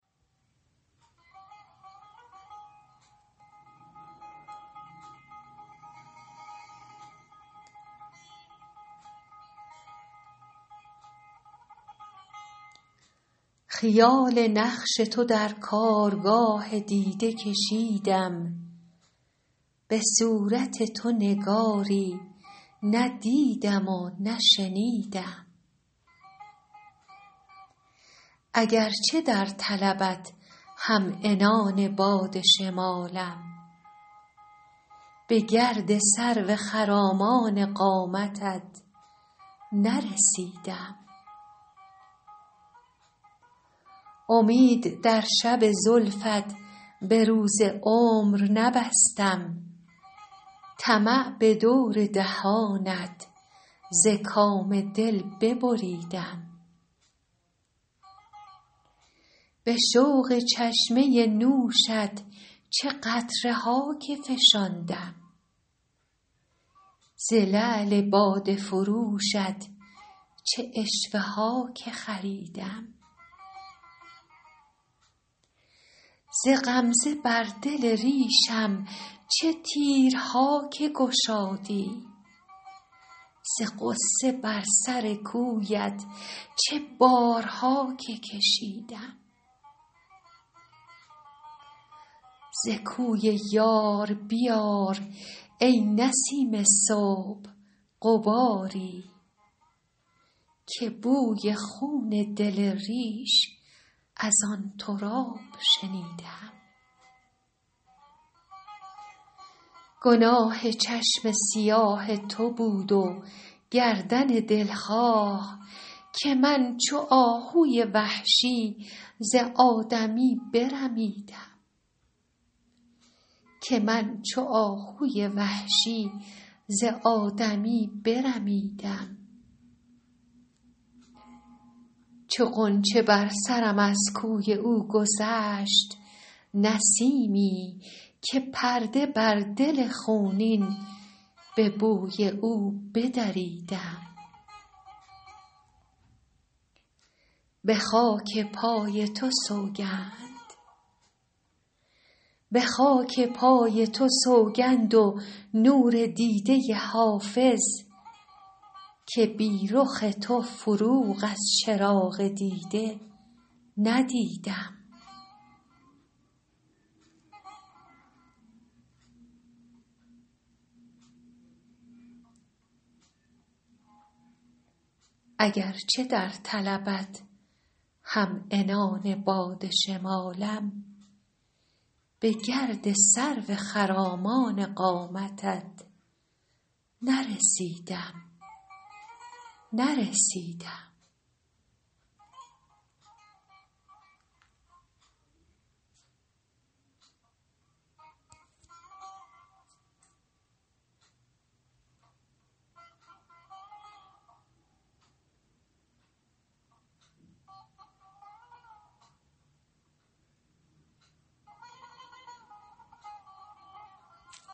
خیال نقش تو در کارگاه دیده کشیدم به صورت تو نگاری ندیدم و نشنیدم اگرچه در طلبت هم عنان باد شمالم به گرد سرو خرامان قامتت نرسیدم امید در شب زلفت به روز عمر نبستم طمع به دور دهانت ز کام دل ببریدم به شوق چشمه نوشت چه قطره ها که فشاندم ز لعل باده فروشت چه عشوه ها که خریدم ز غمزه بر دل ریشم چه تیرها که گشادی ز غصه بر سر کویت چه بارها که کشیدم ز کوی یار بیار ای نسیم صبح غباری که بوی خون دل ریش از آن تراب شنیدم گناه چشم سیاه تو بود و گردن دلخواه که من چو آهوی وحشی ز آدمی برمیدم چو غنچه بر سرم از کوی او گذشت نسیمی که پرده بر دل خونین به بوی او بدریدم به خاک پای تو سوگند و نور دیده حافظ که بی رخ تو فروغ از چراغ دیده ندیدم